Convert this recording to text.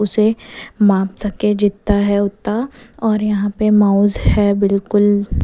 उसे माप सकें जितना है उतना और यहाँ पे माउस है बिल्कुल--